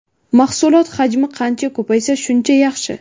Mahsulot hajmi qancha ko‘paysa, shuncha yaxshi.